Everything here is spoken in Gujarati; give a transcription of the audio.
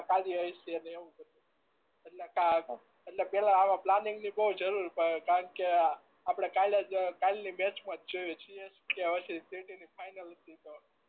કાળજી હશે એટલે એવું એટલે એટલે પેહલા આવા પ્લાનીગ ની કોઈ જરૂર કારણ આપણે કાલે જ કાલની બેંચ માં જોઈએ જ છીએ જ કે પછી સીટી ની ફાઈનલ ન તો